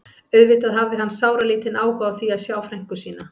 Auðvitað hafði hann sáralítinn áhuga á því að sjá frænku sína.